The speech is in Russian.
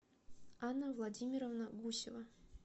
анна владимировна гусева